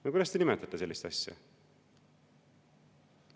No kuidas te nimetate sellist asja?